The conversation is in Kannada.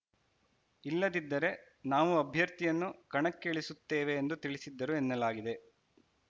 ಇಲ್ಲದಿದ್ದರೆ ನಾವು ಅಭ್ಯರ್ಥಿಯನ್ನು ಕಣಕ್ಕೆ ಇಳಿಸುತ್ತೇವೆ ಎಂದು ತಿಳಿಸಿದ್ದರು ಎನ್ನಲಾಗಿದೆ